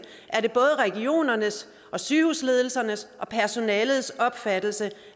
er det både regionernes og sygehusledelsernes og personalets opfattelse